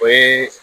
O ye